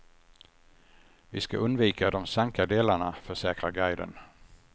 Vi ska undvika de sanka delarna, försäkrar guiden.